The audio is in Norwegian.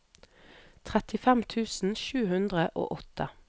trettifem tusen sju hundre og åtte